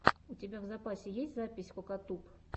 у тебя в запасе есть запись кокатуб